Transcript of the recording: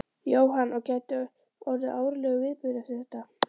Jóhann: Og gæti orðið árlegur viðburður eftir þetta?